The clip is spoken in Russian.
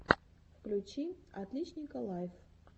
включи отличника лайф